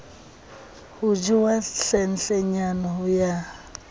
ho jewang hlenhlenyane ho ya